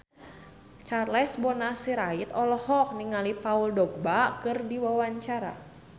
Charles Bonar Sirait olohok ningali Paul Dogba keur diwawancara